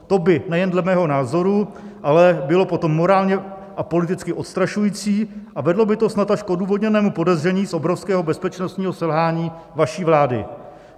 To by, nejen dle mého názoru, ale bylo potom morálně a politicky odstrašující a vedlo by to snad až k odůvodněnému podezření z obrovského bezpečnostního selhání vaší vlády.